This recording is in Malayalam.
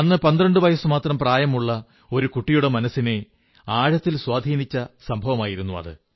അന്ന് 12 വയസ്സ്മാത്രം പ്രായമുള്ള ഒരു കുട്ടിയുടെ മനസ്സിനെ ആഴത്തിൽ സ്വാധീനിച്ച സംഭവമായിരുന്നു അത്